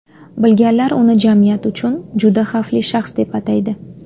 Bilganlar uni jamiyat uchun juda xavfli shaxs, deb ataydi.